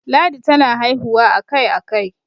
ladi tana haihuwa a Kai a Kai